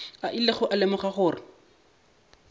a ilego a lemoga gore